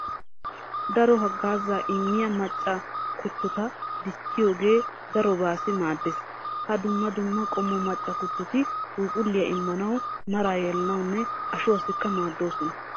Daro haggaazaa immiya macca kuttota dichchiyogee darobaassi maaddees. Ha dumma dumma qommo macca kuttoti phuuphulliya immanawu, maraa yelanawunne ashuwassikka maaddoosona.